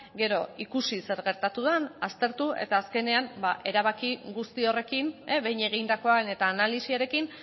gero ikusi zer gertatu den aztertu eta azkenean erabaki guzti horrekin behin egindakoan eta analisiarekin